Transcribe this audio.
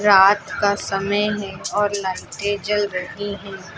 रात का समय है और लाइटें जल रही है।